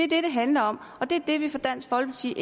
det det handler om og det er det vi fra dansk folkepartis